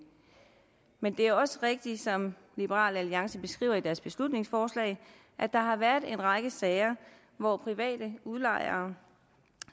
men det er også rigtigt som liberal alliance beskriver i deres beslutningsforslag at der har været en række sager hvor private udlejere